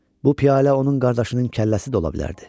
Bu piyalə onun qardaşının kəlləsi də ola bilərdi.